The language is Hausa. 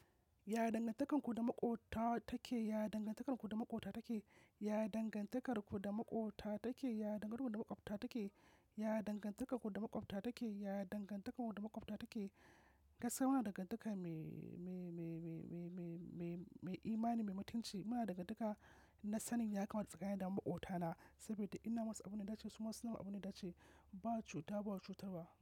Ya dangantakarku da Maƙota take? Ya dangantakarku da Maƙota take? Ya dangantakarku da Maƙota take? Ya dangantakarku da Maƙwabta take? Ya dangantakarku da Maƙwabta take? Ya dangantakarku da Maƙwabta take? Gaskiya muna dangantaka mai, mai, mai, mai, mai, mai, mai, mai imani, mai mutunci. Muna dangantaka na sanin ya kamata tsakanin da Maƙotana, saboda ina masu abin da ya dace su ma su namin abin da ya dace ba cuta, ba cutarwa.